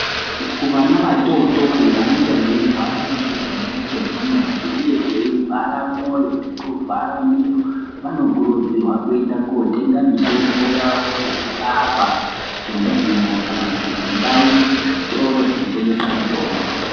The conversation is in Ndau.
kuvana vatootori vanenga veirwara nechirwere chedzihwa chinenge cheivhara mwoyo nekuvhara miro vanokurudzirwa kuenda kootenga mitombo yavo yekurapa kunzvimbo kana kuti kundau, kuzvitoro zvinotengesa mutombo.